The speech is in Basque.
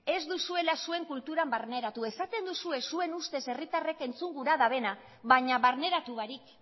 ez duzuela zuen kulturan barneratu esaten duzue zuen ustez herritarrek entzun gura dutena baina barneratu barik